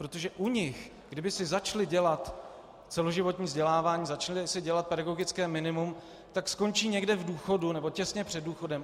Protože u nich, kdyby si začali dělat celoživotní vzdělávání, začali si dělat pedagogické minimum, tak skončí někde v důchodu, nebo těsně před důchodem.